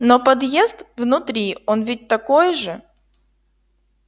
но подъезд внутри он ведь такой же